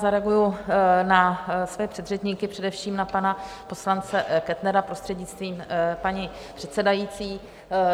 Zareaguji na své předřečníky, především na pana poslance Kettnera, prostřednictvím paní předsedající.